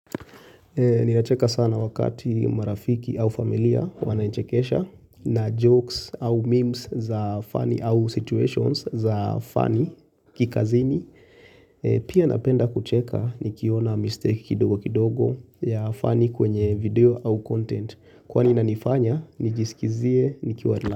Ninacheka sana wakati marafiki au familia wanaichekesha na jokes au memes za funny au situations za funny kikazini. Pia napenda kucheka nikiona mistake kidogo kidogo ya funny kwenye video au content. Kwa nina nifanya, nijisikizie nikiwa rila.